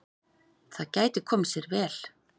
Það gæti komið sér vel.